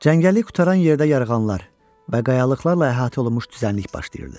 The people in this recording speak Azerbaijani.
Çəngəllik qurtaran yerdə yarğanlar və qayalıqlarla əhatə olunmuş düzənlik başlayırdı.